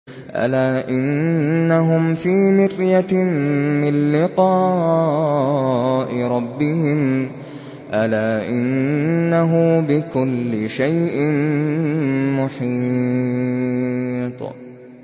أَلَا إِنَّهُمْ فِي مِرْيَةٍ مِّن لِّقَاءِ رَبِّهِمْ ۗ أَلَا إِنَّهُ بِكُلِّ شَيْءٍ مُّحِيطٌ